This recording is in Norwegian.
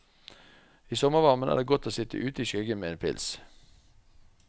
I sommervarmen er det godt å sitt ute i skyggen med en pils.